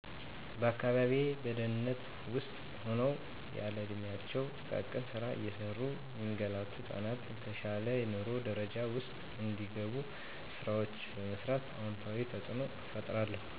በአካባቢየ በድህነት ውስጥ ሁነው ያለእድሚያቸው ጥቃቅን ስራ እየሰሩ ሚንገላቱ ህጻናት፣ በተሻለ የንሮ ደረጃ ውስጥ እንዲገቡ፣ ስራወችን በመስራት አወንታዊ ተጽኖ እፈጥራለሁ።